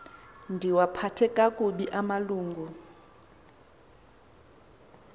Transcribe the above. ndiwaphathe kakubi amalungu